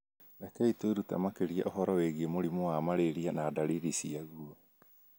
Rekei twĩrute makĩria ũhoro wĩgiĩ mũrimũ wa malaria na ndariri ciagũo